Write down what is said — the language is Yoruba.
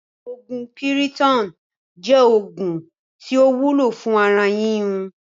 Oògún Piriton jẹ́ oògùn tí ó wúlò fún ara yíyún